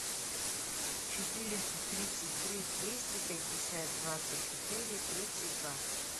четыреста тридцать три двести пятьдесят двадцать четыре тридцать два